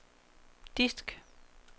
disk